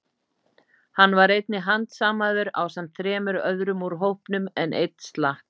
Hann var einnig handsamaður ásamt þremur öðrum úr hópnum, en einn slapp.